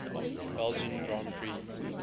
belgian grand prix